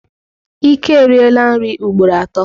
Ike eriela nri ugboro atọ.